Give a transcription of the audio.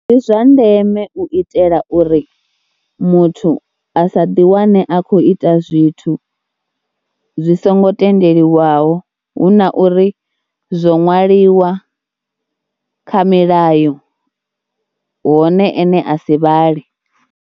Ndi zwa ndeme u itela uri muthu a sa ḓiwane a khou ita zwithu zwi songo tendeliwaho hu na uri zwo ṅwaliwa kha milayo hone ene a si vhale.